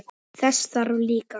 Þess þarf líka.